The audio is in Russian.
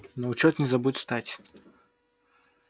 на учёт не забудь стать